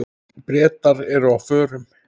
Bretar eru á förum.